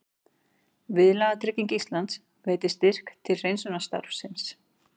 Viðlagatrygging Íslands veitir styrk til hreinsunarstarfsins